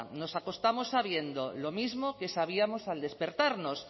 nos acostamos sabiendo lo mismo que sabíamos al despertarnos